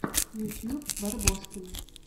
ютуб барбоскины